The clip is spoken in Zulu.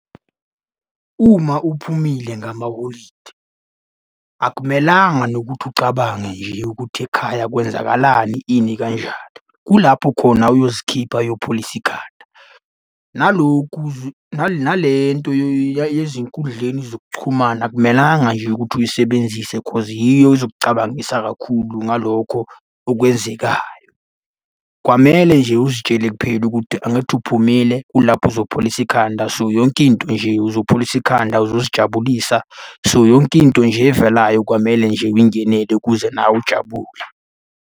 Uma uphumile ngamaholidi akumelanga nokuthi ucabange nje ukuthi ekhaya kwenzakalani ini kanjani. Kulapho khona uyozikhipha, uyopholisa ikhanda. Naloku, nale nto yezinkundleni zokuchumana akumelanga nje ukuthi uyisebenzise cause yiyo ezokucabangisisa kakhulu ngalokho okwenzekayo. Kwamele nje uzitshele kuphela ukuthi angithi uphumile kulapho uzopholisa ikhanda. So, yonke into nje uzopholisa ikhanda uzozijabulisa, so, yonke into nje evelayo kwamele nje uyingenele ukuze nawe ujabule.